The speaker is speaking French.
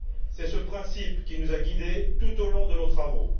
C'est ce principe qui nous a guidés tout au long de nos travaux.